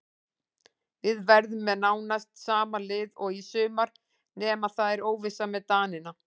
Við verðum með nánast sama lið og í sumar nema það er óvissa með Danina.